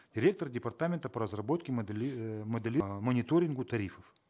ректор департамента по разработке мониторингу тарифов